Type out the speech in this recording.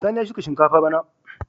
Sani ya shuka shinkafa bana.